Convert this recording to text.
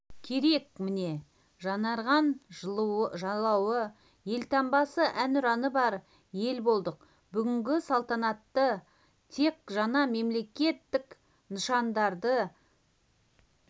керек міне жаңарған жалауы елтаңбасы әнұраны бар ел болдық бүгінгі салтанатта тек жаңа мемлекеттік нышардарды